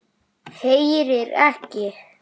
Heyrir ekki.